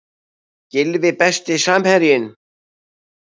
Gylfi Besti samherjinn?